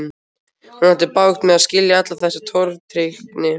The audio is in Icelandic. Hún átti bágt með að skilja alla þessa tortryggni.